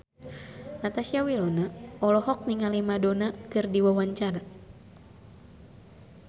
Natasha Wilona olohok ningali Madonna keur diwawancara